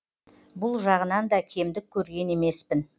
бұл жағынан да кемдік көрген емеспін